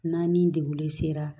N'an ni degun sera